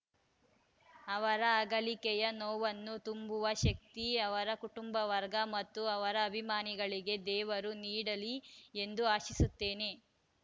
ಅವರ ಅಗಲಿಕೆಯ ನೋವನ್ನು ತುಂಬುವ ಶಕ್ತಿ ಅವರ ಕುಟುಂಬ ವರ್ಗ ಮತ್ತು ಅವರ ಅಭಿಮಾನಗಳಿಗೆ ದೇವರು ನೀಡಲಿ ಎಂದು ಆಶಿಸುತ್ತೇನೆ